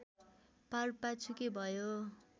पारपाचुके भयो